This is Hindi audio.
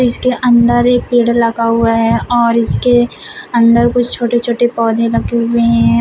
इसके अंदर एक पेड़ लगा हुआ है और इसके अंदर कुछ छोटे छोटे पौधे लगे हुए है।